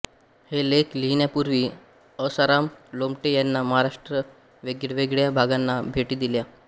हे लेख लिहिण्यापूर्वी असाराम लोमटे ह्यांनी महाराष्ट्राच्या वेगवेगळ्या भागांना भेटी दिल्या